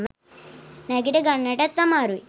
නැගිට ගන්නටත් අමාරුයි.